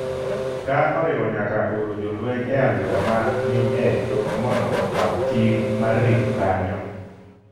ka oriwo nyaka oro jolweny e alwora ma ni e tong' mondo okaw ting’ mar rito kanyo